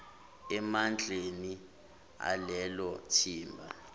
emandleni alelo thimba